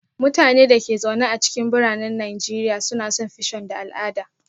Mutanen da ke zaune a cikin biranen Najeriya na son fission da al'ada